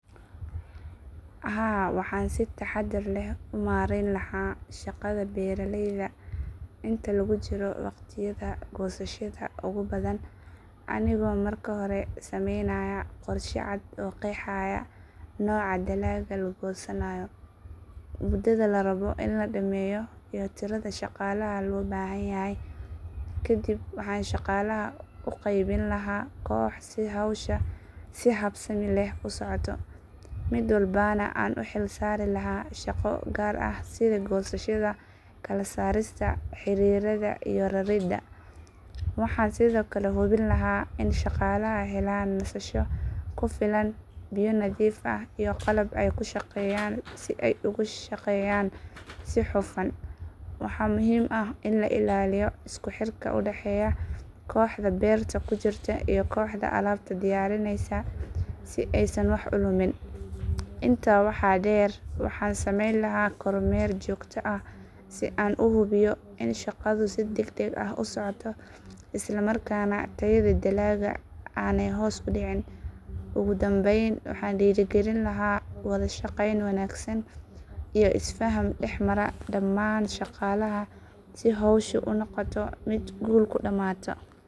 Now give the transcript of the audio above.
Haa waxaan si taxaddar leh u maareyn lahaa shaqada beeralayda inta lagu jiro wakhtiyada goosashada ugu badan anigoo marka hore sameynaya qorshe cad oo qeexaya nooca dalagga la goosanayo, muddada la rabo in la dhameeyo iyo tirada shaqaalaha loo baahan yahay. Kadib waxaan shaqaalaha u qaybin lahaa kooxo si hawsha si habsami leh u socoto, mid walbana aan u xil saari lahaa shaqo gaar ah sida goosashada, kala saarista, xirxiridda iyo raridda. Waxaan sidoo kale hubin lahaa in shaqaalaha helaan nasasho ku filan, biyo nadiif ah iyo qalab ay ku shaqeeyaan si ay ugu shaqeeyaan si hufan. Waxaa muhiim ah in la ilaaliyo isku xirka u dhexeeya kooxda beerta ku jirta iyo kooxda alaabta diyaarineysa si aysan wax u lumin. Intaas waxaa dheer waxaan sameyn lahaa kormeer joogto ah si aan u hubiyo in shaqadu si degdeg ah u socoto isla markaana tayada dalagga aanay hoos u dhicin. Ugu dambeyn, waxaan dhiirigelin lahaa wada shaqeyn wanaagsan iyo is faham dhex mara dhammaan shaqaalaha si hawshu u noqoto mid guul ku dhammaata.